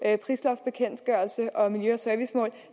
prisloftsbekendtgørelse og miljø og servicemål